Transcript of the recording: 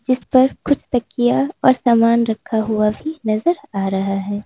इसपर कुछ तकिया और सामान रखा हुआ भी नजर आ रहा है।